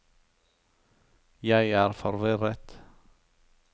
jeg er forvirret